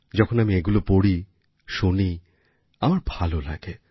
যখন আমি এগুলো পড়ি শুনি আমার ভালো লাগে